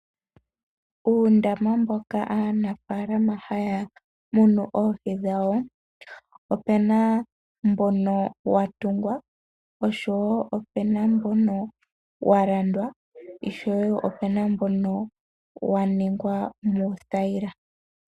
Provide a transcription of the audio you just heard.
Uundama mboka aanafalama haya munu oohi dhawo, opuna mbono watungwa, opuna mbono walandwa, noshowo mbono waningwa muuthayila.